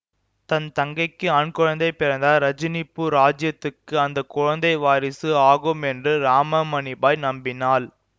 தன் தங்கைக்கு ஆண் குழந்தை பிறந்தால் ரஜினிபூர் ராஜ்யத்துக்கு அந்த குழந்தை வாரிசு ஆகும் என்று ராமமணிபாய் நம்பினாள்